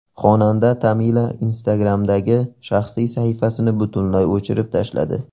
Xonanda Tamila Instagram’dagi shaxsiy sahifasini butunlay o‘chirib tashladi.